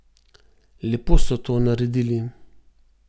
Lepo so to naredili.